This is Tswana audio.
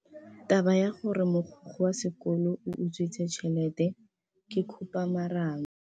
Taba ya gore mogokgo wa sekolo o utswitse tšhelete ke khupamarama.